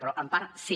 però en part sí